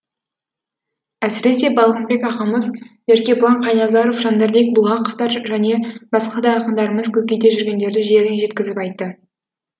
әсіресе балғынбек ағамыз еркебұлан қайназаров жандарбек бұлғақовтар және басқа да ақындарымыз көкейде жүргендерді жеріне жеткізіп айтты